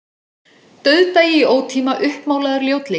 Dauðdagi í ótíma, uppmálaður ljótleiki.